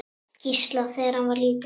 Gísla, þegar hann var lítill.